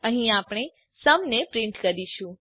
અહી આપણે સુમ ને પ્રીંટ કરીશું